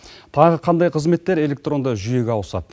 тағы қандай қызметтер электронды жүйеге ауысады